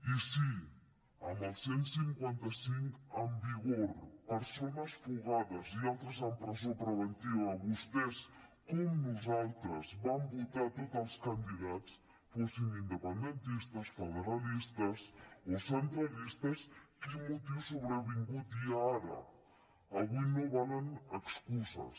i si amb el cent i cinquanta cinc en vigor persones fugades i altres en presó preventiva vostès com nosaltres van votar tots els candidats fossin independentistes federalistes o centralistes quin motiu sobrevingut hi ha ara avui no valen excuses